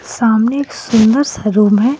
सामने एक सुंदर सा रूम हैं.